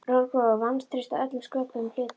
Rótgróið vantraust á öllum sköpuðum hlutum.